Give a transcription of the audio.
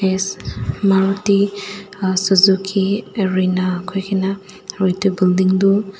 yes Maruti suzuki arena koi kene aru etu building tu--